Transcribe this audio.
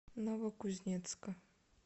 новокузнецка